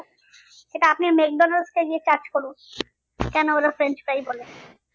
সেটা আপনি মেকডনাল্ড্স এ গিয়ে charge করুন কেন ওরা french fries বলে